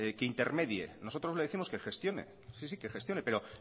que intermedie nosotros le décimos que gestione sí sí que gestione pero